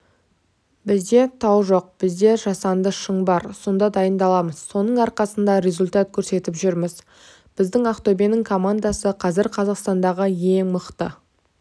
бізде тау жоқ бізде жасанды шың бар сонда дайындаламыз соның арқасында результат көрсетіп жүрміз біздің ақтөбенің командасы қазір қазақстандағы ең мықты